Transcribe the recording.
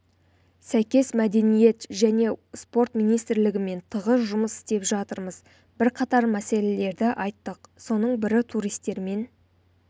сәйкес мәдениет және спорт министрлігімен тығыз жұмыс істеп жатырмыз бірқатар мәселелерді айттық соның бірі туристермен